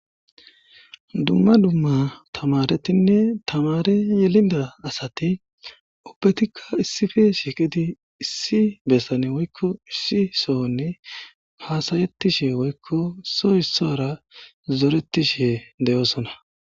dumma dumma tamaretinne tamare gelida asati ubbetikka issife shiiqidi issi bessane woykko issi sohonni haasayettishe woykko so issara zoretishe deyoosona